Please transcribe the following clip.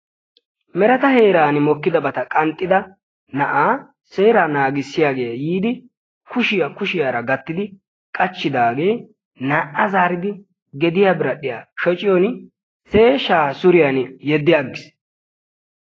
mereta heerani mokkidabata qanxxida na'aa seeraa naagisiyagee yiidi kushiya kushiyara gatidi qachidaagee naa'a zaridi gediya biradhiya shocciyorin sheeshshaa suriyan yeddi agiis.